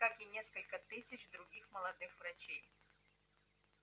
как и несколько тысяч других молодых врачей